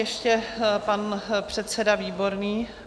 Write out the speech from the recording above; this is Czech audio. Ještě pan předseda Výborný.